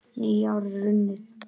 Nýár er runnið!